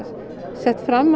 sett fram